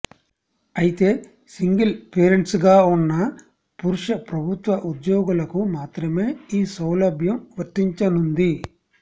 అయితే సింగిల్ పెరేంట్స్గా ఉన్న పురుష ప్రభుత్వ ఉద్యోగులకు మాత్రమే ఈ సౌలభ్యం వర్తించనుంది